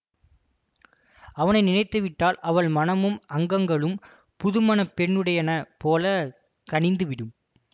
அவனை நினைத்துவிட்டால் அவள் மனமும் அங்கங்களும் புது மண பெண்ணுடையன போலக் கனிந்துவிடும்